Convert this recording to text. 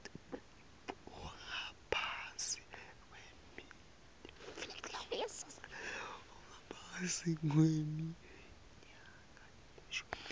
ungaphasi kweminyaka lelishumi